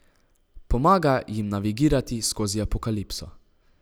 Pomaga jim navigirati skozi apokalipso.